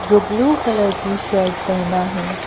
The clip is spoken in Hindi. जो ब्लू कलर की शर्ट पहना है।